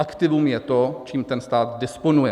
Aktivum je to, čím ten stát disponuje.